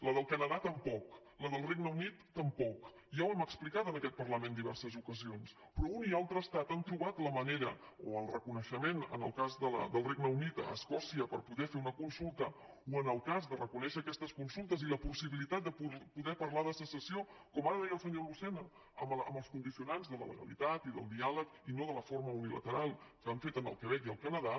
la del canadà tampoc i la del regne unit tampoc ja ho hem explicat en aquest parlament en diverses ocasions però un i altre estat han trobat la manera o el reconeixement en el cas del regne unit a escòcia per poder fer una consulta o el cas de reconèixer aquestes consultes i la possibilitat de poder parlar de secessió com ara deia el senyor lucena amb els condicionants de la legalitat i del diàleg i no de forma unilateral que han fet al quebec i al canadà